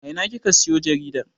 A ina kika siyo jaridar?